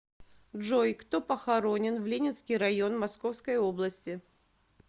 джой кто похоронен в ленинский район московской области